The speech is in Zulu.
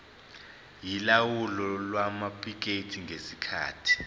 yolawulo lwamaphikethi ngesikhathi